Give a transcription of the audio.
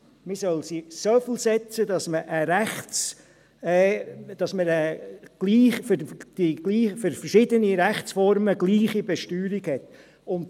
Man soll sie so ansetzen, dass man für verschiedene Rechtsformen die gleiche Besteuerung hat.